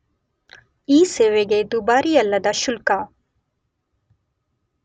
ಈ ಸೇವೆಗೆ ದುಬಾರಿಯಲ್ಲದ ಶುಲ್ಕ.